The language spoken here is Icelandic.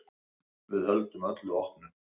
Við höldum öllu opnu.